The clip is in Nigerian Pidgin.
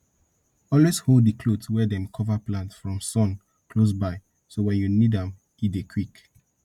always hold di cloth wey dem cover plant from sun close by so wen you need am e dey quick